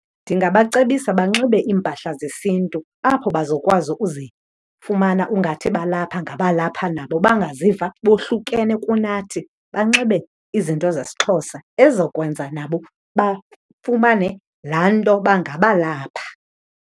Ndingabacebisa banxibe iimpahla zesintu apho bazokwazi uzifumana ungathi balapha ngabalapha nabo, bangaziva bohlukene kunathi. Banxibe izinto zesiXhosa ezizokwenza nabo bafumane laa nto yoba ngabalapha.